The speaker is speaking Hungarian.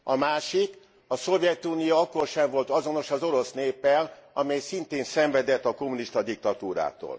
A másik, a Szovjetunió akkor sem volt azonos az orosz néppel, amely szintén szenvedett a kommunista diktatúrától.